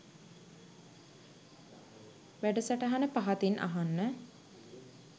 වැඩසටහන පහතින් අහන්න